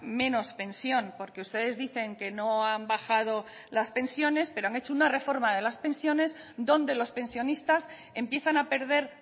menos pensión porque ustedes dicen que no han bajado las pensiones pero han hecho una reforma de las pensiones donde los pensionistas empiezan a perder